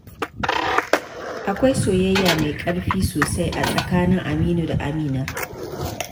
Akwai soyayya mai ƙarfi sosai a tsakanin Aminu da Amina.